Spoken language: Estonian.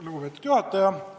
Lugupeetud juhataja!